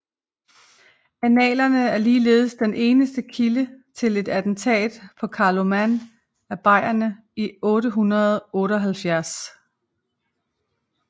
Annalerne er ligeledes den eneste kilde til et attentat på Carloman af bayerne i 878